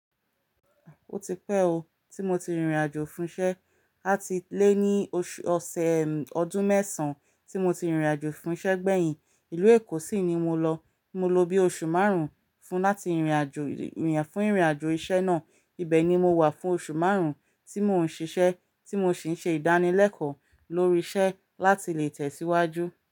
Ó ti pẹ́ o, tí mo ti rìnrìn àjò fún iṣẹ́, àti lé ní oṣù-- ọ̀sẹ̀ ọdún mẹ́sàn tí mo ti rìnrìn àjò fún iṣẹ́ gbẹ̀yìn. Ìlú Èkó sì ni mo lọ. Mo lo bí oṣù márùn-ún fún láti rìnrìn àjò, fún ìrìn àjò iṣẹ́ náà. Ibẹ̀ ni mo wà fún oṣù márùn-ún tí mò ń ṣiṣẹ́, tí mo sì ń ṣe ìdánilẹ́kọ̀ọ́ lórí iṣẹ́ láti lè tẹ̀ síwájú.